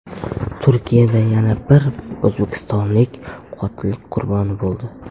Turkiyada yana bir o‘zbekistonlik qotillik qurboni bo‘ldi.